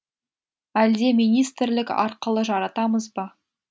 әлде министрлік арқылы жаратамыз ба